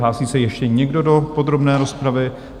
Hlásí se ještě někdo do podrobné rozpravy?